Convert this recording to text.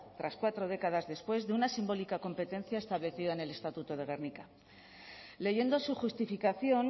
tras cuatro décadas después de una simbólica competencia establecida en el estatuto de gernika leyendo su justificación